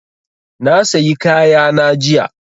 Na sayi kaya na jiya